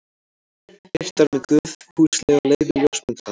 Birtar með góðfúslegu leyfi ljósmyndarans.